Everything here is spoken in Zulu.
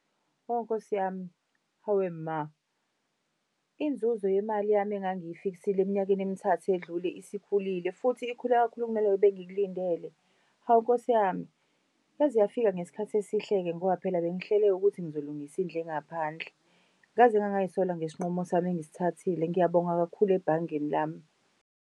Hawu Nkosi yami. Hawe ma! Inzuzo yemali yami engangiyifiksile eminyakeni emithathu edlule isikhulile futhi ikhule kakhulu kunaleyo bengikulindele. Hawu Nkosi yami, yaze yafika ngesikhathi esihle-ke ngoba phela bengihlele ukuthi ngizolungisa indlu engaphandle. Ngaze ngangay'sola ngesinqumo sami engisithathile. Ngiyabonga kakhulu ebhangeni lami.